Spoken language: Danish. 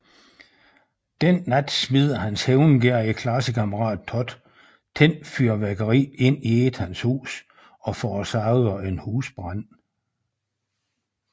Den nat smider hans hævngerrige klassekammerat Todd tændt fyrværkeri ind i Ethans hus og forårsager en husbrand